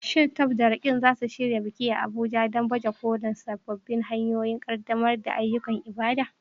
Shin Tope da Roqeeb za su shirya wani biki a Abuja don baje kolin sabbin hanyoyin ƙaddamar da ayyukan ibada?